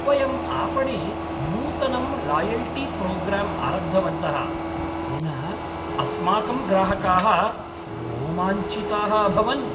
वयम् आपणे नूतनं लायल्टीप्रोग्राम् आरब्धवन्तः येन अस्माकं ग्राहकाः रोमाञ्चिताः अभवन्।